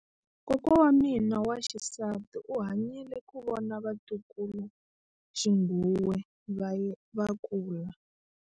Kokwa wa mina wa xisati u hanyile ku vona vatukuluxinghuwe va kula.